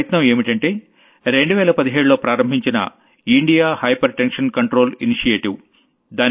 ఆ ప్రయత్నం ఏంటంటే 2017లో ప్రారంభించిన India hypertension control initiative